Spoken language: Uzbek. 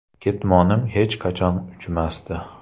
Ketmonim hech qachon uchmasdi.